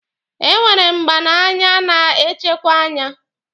E nwere mgba n'anya na-echekwe anya.